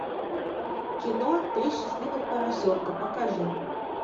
кино три счастливых поросенка покажи